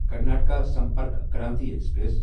Karnataka Sampark Kranti express